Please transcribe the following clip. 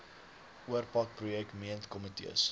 oorpak projek meentkomitees